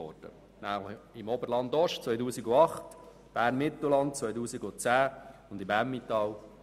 2008 im Oberland-Ost, 2010 in Bern-Mittelland und 2012 im Emmental.